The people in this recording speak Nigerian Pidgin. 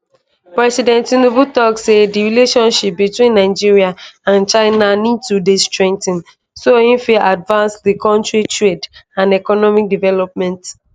president tinubu tok say di relationship between nigeria and china need to dey strengthened so e fit advance di kontris trade and economic development programmes